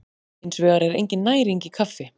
Hins vegar er engin næring í kaffi.